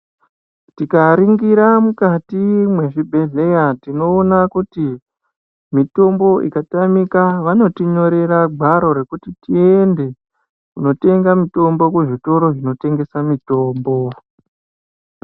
Tikaringira mukati mwezvibhehleya tinoona kuti mitombo ikatamika vanotinyorera gwaro rekuti tiende kunotenga mitombo kuzvitoro zvinotengesa mitombo